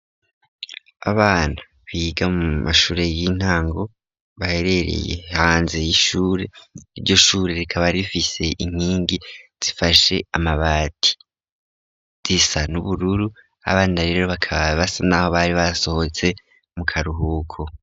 Abana biga mu mashure y'intango baherereye hanze y'ishure, iryo shure rikaba rifise inkingi zifashe amabati, zisa n'ubururu, abana rero bakaba basa nkaho bari basohotse mu karuhuko.